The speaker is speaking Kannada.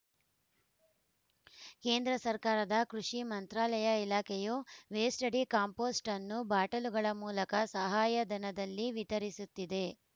ಕೇಂದ್ರ ಸರ್ಕಾರದ ಕೃಷಿ ಮಂತ್ರಾಲಯ ಇಲಾಖೆಯು ವೇಸ್ಟ್‌ ಡಿ ಕಾಂಪೋಸ್ಟ್‌ ಅನ್ನು ಬಾಟಲುಗಳ ಮೂಲಕ ಸಹಾಯಧನದಲ್ಲಿ ವಿತರಿಸುತ್ತಿದೆ